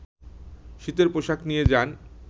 শীতের পোশাক নিয়ে যান